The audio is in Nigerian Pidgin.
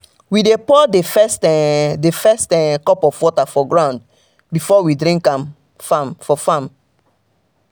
we dey pour the first um the first um cup of water for ground before we drink for um farm.